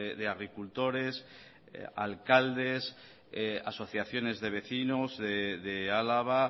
de agricultores alcaldes asociaciones de vecinos de álava